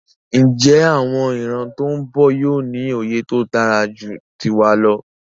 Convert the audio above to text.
Njé àwon ìran tón bò yío ní òye tódáraju tiwa lọ?